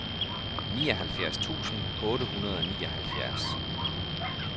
nioghalvfjerds tusind otte hundrede og nioghalvfjerds